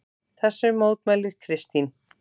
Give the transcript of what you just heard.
Þessu mótmælir Kristín.